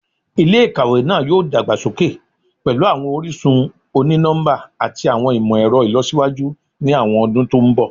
Ilé-ìkàwé náà yóò dàgbà sókè pẹ̀lú àwọn orísun oni-nọmba àti àwọn ìmọ̀-ẹ̀rọ ìlọsíwájú ni àwọn ọdún to ń bọ̀